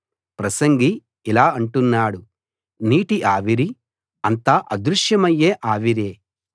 ప్రసంగి ఇలా అంటున్నాడు నీటి ఆవిరి అంతా అదృశ్యమయ్యే ఆవిరే